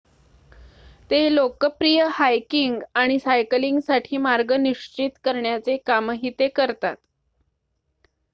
ते लोकप्रिय हायकिंग आणि सायकलिंगसाठी मार्ग निश्चित करण्याचे कामही ते करतात